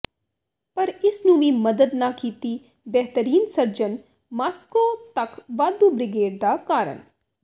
ਪਰ ਇਸ ਨੂੰ ਵੀ ਮਦਦ ਨਾ ਕੀਤੀ ਬੇਹਤਰੀਨ ਸਰਜਨ ਮਾਸ੍ਕੋ ਤੱਕ ਵਾਧੂ ਬ੍ਰਿਗੇਡ ਦਾ ਕਾਰਨ